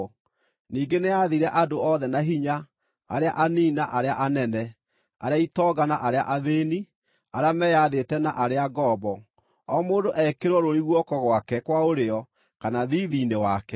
Ningĩ nĩyaathire andũ othe na hinya, arĩa anini na arĩa anene, arĩa itonga na arĩa athĩĩni, arĩa meyathĩte na arĩa ngombo, o mũndũ ekĩrwo rũũri guoko gwake kwa ũrĩo kana thiithi-inĩ wake,